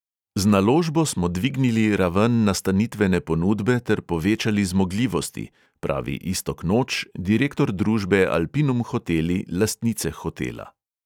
"Z naložbo smo dvignili raven nastanitvene ponudbe ter povečali zmogljivosti," pravi iztok noč, direktor družbe alpinum hoteli, lastnice hotela.